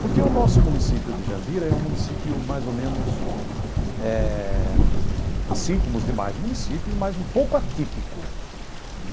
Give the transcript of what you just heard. Porque o nosso município de Jandira é um município mais ou menos eh assim como os demais municípios, mas um pouco atípico.